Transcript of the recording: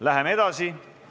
Läheme edasi.